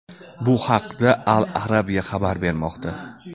Bu haqda Al-Arabiya xabar bermoqda .